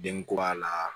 Den kura la